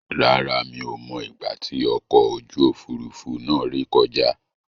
Rárá, mi ò mọ ìgbà tí ọkọ̀ ojú Òfurufú náà rè kọjá.